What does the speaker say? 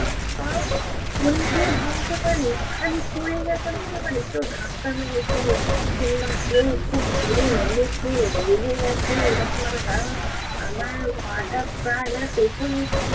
পা পড়ে গিয়ে ভাঙতে পারে? খালি পড়ে গেছে ভাঙতে পারে! কেউ ধাক্কা মেরেছে? কিংবা কেউ খুব জোড়ে মেরেছে? লেগে গেছে? এরকমভাবে। কারণ আমার পা টা প্রায় মানে পেছন দিকে